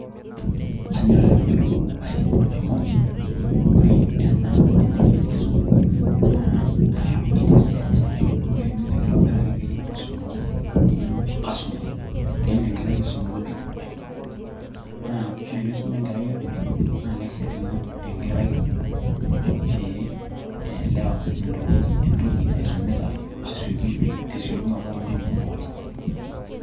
Kaanyor ena bae amu ore ene wueji e sukuul naa ore ene naa kitobiraki pee eisumare oltungani otii enkisuma, pee elo enkerai aisuma openy. naa ore eneisuma enkerai openy naa kisum Ina enkerai pee eelewa entoki naisumita te siokinoto amu ninye naa openy.